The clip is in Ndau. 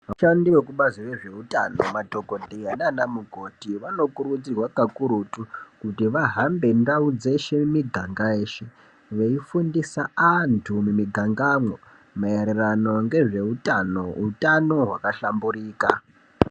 Vashandi vekubazi rezveutano madhogodheya naana mukoti vanokurudzirwa kakurutu kuti vahambe ndau dzeshe, miganga yeshe veifundisa antu mumigangamwo maererano ngezveutano, utano hwakahlamburika.